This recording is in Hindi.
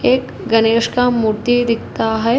एक गणेश का मूर्ति दिखता है।